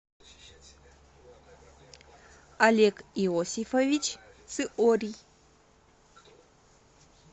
олег иосифович циорий